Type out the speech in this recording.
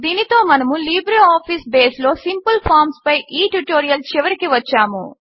దీనితో మనము లిబ్రేఆఫీస్ బేస్లో సింపిల్ ఫార్మ్స్ పై ఈ ట్యుటోరియల్ చివరికి వచ్చాము